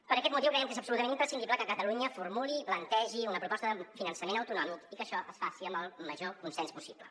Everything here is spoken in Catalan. per aquest motiu creiem que és absolutament imprescindible que catalunya formuli i plantegi una proposta de finançament autonòmic i que això es faci amb el major consens possible